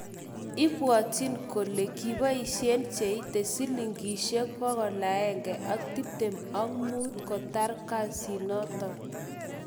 Ibwotin kole kipoishen cheite Sh125,000 kotar kasinoton.